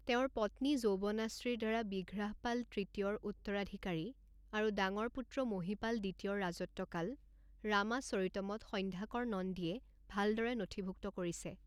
তেওঁৰ পত্নী যৌৱনাশ্ৰীৰ দ্বাৰা বিঘ্ৰাহপাল তৃতীয়ৰ উত্তৰাধিকাৰী আৰু ডাঙৰ পুত্ৰ মহিপাল দ্বিতীয়ৰ ৰাজত্বকাল ৰামাচৰিতমত সন্ধ্যাকৰ নন্দীয়ে ভালদৰে নথিভুক্ত কৰিছে।